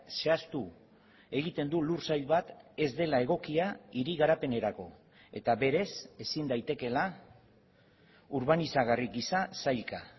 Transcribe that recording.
zehaztu egiten du lursail bat ez dela egokia hiri garapenerako eta berez ezin daitekeela urbanizagarri gisa sailka